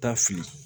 Taa fili